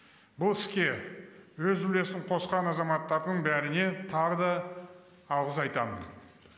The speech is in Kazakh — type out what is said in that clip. бұл іске өз үлесін қосқан азаматтардың бәріне тағы да алғыс айтамын